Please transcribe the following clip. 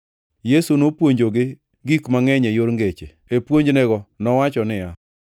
Yesu nopuonjogi gik mangʼeny e yor ngeche. E puonjnego nowacho niya,